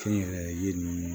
Kɛnyɛrɛye ninnu